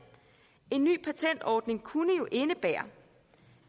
en ny patentordning kunne jo indebære